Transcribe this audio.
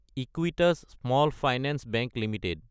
Equitas small finance bank Ltd